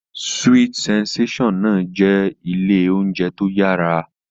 Sweet sensation náà jẹ́ ilé oúnjẹ tó yára